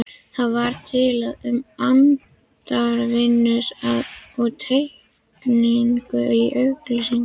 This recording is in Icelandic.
Það var talað um handavinnu og teikningu í auglýsingunni.